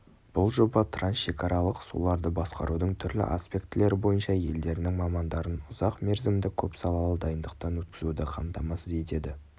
бұл жоба трансшекаралық суларды басқарудың түрлі аспектілері бойынша елдерінің мамандарын ұзақ мерзімді көп салалы дайындықтан өткізуді қамтамасыз етеді